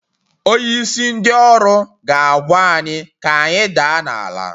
Onyeisi ndị ọrụ ga-agwa anyị ka anyị daa n'ala.